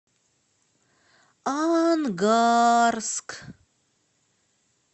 ангарск